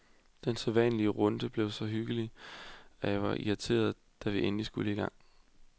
Den sædvanlige runde blev så hyggelig, at jeg var helt irriteret, da vi endelig skulle i gang.